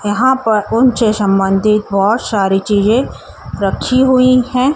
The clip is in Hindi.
यहां पर उन से संबंधी बहुत सारे चीज़ें रखी हुईं हैं।